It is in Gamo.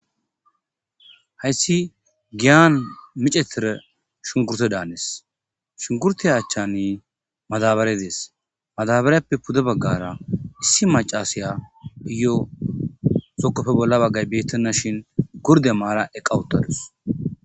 Haysi giyan micettida shunkkurtte danees. Shunkkurtte achchanni madabare des. Madabareppe pude bagara issi macasiyayo zokoppe bolla baggay batennashin gurdde may'ada eqqa utadus.